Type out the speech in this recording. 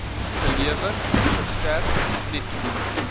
gelewer verstrek netto